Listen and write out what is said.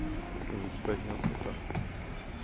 ему читать неохота